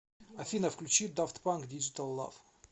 афина включи дафт панк диджитал лав